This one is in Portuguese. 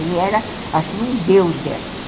Ele era, assim, um deus delas.